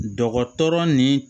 Dɔgɔtɔrɔ ni